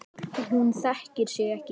Hún þekkir sig ekki hér.